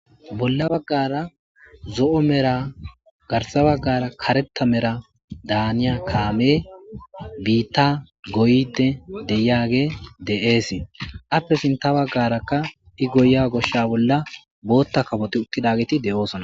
Bola bagara zo'o mera garsa bagara karetha mera daniya kame bita goyide deyiyage de'es ape sinta bagaraka i goyiya gosha bola bota kafoti utidageti de'osona.